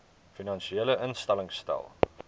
finansiële instellings stel